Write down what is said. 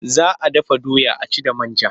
Za a dafa doya a ci da man ja.